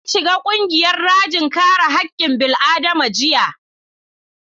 Na shiga ƙungiyar rajin kare haƙƙin bil'adama jiya